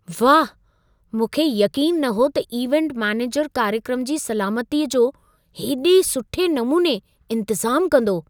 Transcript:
वाह! मूंखे यक़ीन न हो त इवेंट मैनेजर कार्यक्रम जी सलामतीअ जो हेॾे सुठे नमूने इंतज़ाम कंदो।